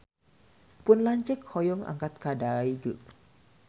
Pun lanceuk hoyong angkat ka Daegu